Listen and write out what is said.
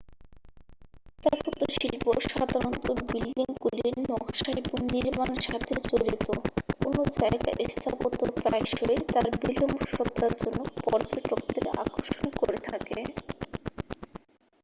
স্থাপত্যশিল্প সাধারণত বিল্ডিংগুলির নকশা এবং নির্মাণের সাথে জড়িত কোনও জায়গার স্থাপত্য প্রায়শই তার নিজস্ব সত্তার জন্য পর্যটকদের আকর্ষণকরে থাকে